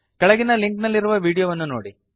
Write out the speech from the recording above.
ಕೆಳಗಿನ ಲಿಂಕ್ ನಲ್ಲಿರುವ ವೀಡಿಯೋವನ್ನು ನೋಡಿರಿ